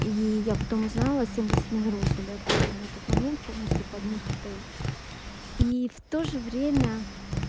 и я потом узнала семьдесят номеров были откуплены на тот момент полностью под них отель и в тоже время